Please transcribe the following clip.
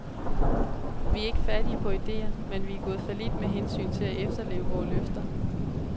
Vi er ikke fattige på ideer, men vi er gået fallit med hensyn til at efterleve vore løfter.